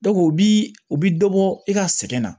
o bi u bi dɔ bɔ i ka sɛgɛn na